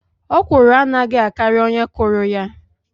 Okwụrụ anaghi akari onye kuru ya.